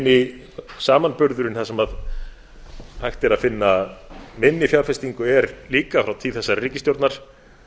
eini samanburðurinn þar sem hægt er að finna minni fjárfestingu er líka frá tíð þessarar ríkisstjórnar